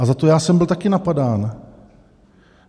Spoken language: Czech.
A za to já jsem byl taky napadán.